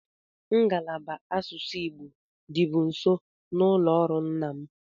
Ngalaba asụsụ Igbo dịbu nso n'ụlọ ọrụ nna m.